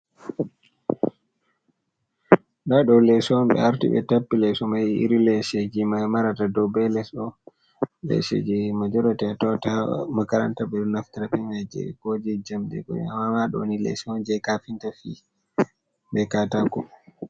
Nda ɗo les'on ɓe arti ɓe tappii leso mai, iri leshe jee mai marata dow bei les ɗo. Lesheji majorati atawata ha makaranta ɓe ɗo naftira be majee ko je jamdi haaa ɗoni leshee'on je kafinta fii, be kaatako.